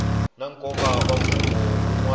na nkoka na mfungho wun